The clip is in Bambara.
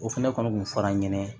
O fɛnɛ kɔni kun fɔr'an ɲɛna